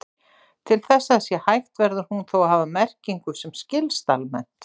Til þess að það sé hægt verður hún þó að hafa merkingu sem skilst almennt.